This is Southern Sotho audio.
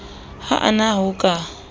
ha a na ho ka